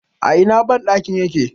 a Ina bandakin yake?